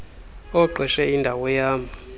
oqeshe indawo yam